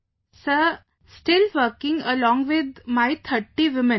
Vijayashanti ji sir, still working along with my 30 women